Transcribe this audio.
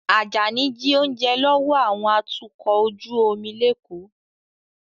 Ajani jí oúnjẹ lọ́wọ́ àwọn atukọ̀ ojú omi l'Eko